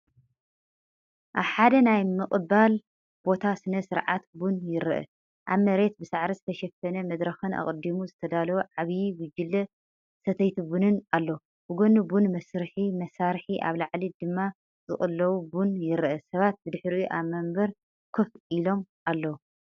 ኣብ ሓደ ናይ ምቕባል ቦታ ስነ-ስርዓት ቡን ይርአ፤ ኣብ መሬት ብሳዕሪ ዝተሸፈነ መድረኽን ኣቐዲሙ ዝተዳለወ ዓቢ ጉጅለ ሰተይቲ ቡንን ኣሎ። ብጎኒ ቡን መስርሒ መሳርሒ ኣብ ላዕሊ ድማ ዝቅለው ቡን ይረአ፤ ሰባት ብድሕሪኡ ኣብ መንበር ኮፍ ኢሎም ኣለዉ።